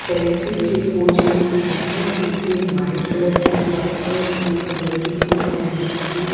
Selfie के pose में खड़ा है जिसने व्हाइट कलर की शर्ट और ब्लू कलर की जींस पहन रखी है।